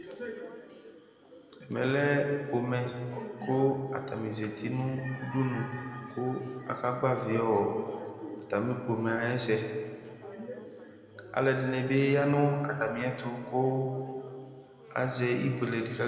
Ɛmɛ lɛ pomɛ, kʋ atani zǝti nʋ udunu, kʋ aka gbavi atami pomɛ ayʋ ɛsɛ Alu ɛdɩnɩ bɩ ya nʋ atami ɛtʋ kʋ azɛ ibuelekʋ